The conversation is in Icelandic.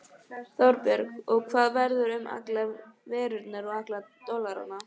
Þorbjörn: Og hvað verður um allar evrurnar og alla dollarana?